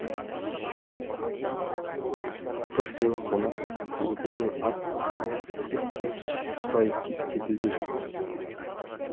бір сыйлы қонақ келетінін ат ала кеп те сүт сұрай кеп те білді жұрт